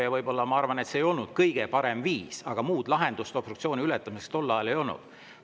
Ma arvan, et see võib-olla ei olnud kõige parem viis, aga muud lahendust obstruktsiooni ületamiseks tol ajal ei olnud.